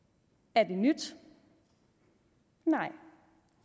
er det nyt nej